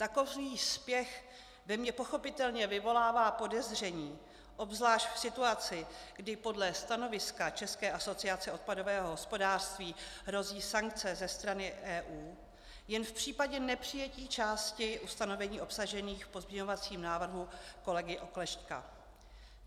Takový spěch ve mně pochopitelně vyvolává podezření, obzvlášť v situaci, kdy podle stanoviska České asociace odpadového hospodářství hrozí sankce ze strany EU jen v případě nepřijetí části ustanovení obsažených v pozměňovacím návrhu kolegy Oklešťka.